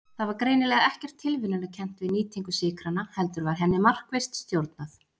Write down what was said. Það var greinilega ekkert tilviljunarkennt við nýtingu sykranna heldur var henni markvisst stjórnað.